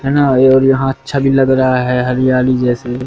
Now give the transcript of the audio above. है ना ये और यहां अच्छा भी लग रहा है हरियाली जैसे--